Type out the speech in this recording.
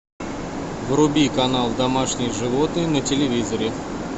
вруби канал домашние животные на телевизоре